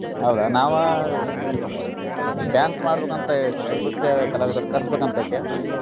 ಹೌದಾ ನಾವಾ dance ಮಾಡ್ಬೇಕಂತ ಅಂತಾ ಐತಿ ನೃತ್ಯ ಕಲಾವಿದರನ್ನ ಕರ್ಸಬೇಕ್ ಅಂತ ಐತಿ.